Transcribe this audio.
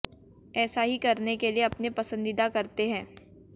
ऐसा ही करने के लिए अपने पसंदीदा करते हैं